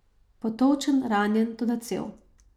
Potolčen, ranjen, toda cel.